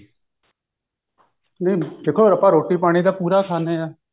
ਨਹੀਂ ਦੇਖੋ ਆਪਾਂ ਰੋਟੀ ਪਾਣੀ ਤਾਂ ਪੂਰਾ ਖਾਂਦੇ ਹਾਂ